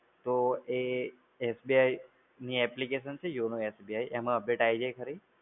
તો એ SBI ની જે application છે YONOSBI છે એમા update આઈ જાય ખરી?